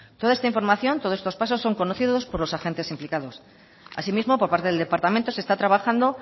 toda esta información todos estos pasos son conocidos por los agentes implicados asimismo por parte del departamento se está trabajando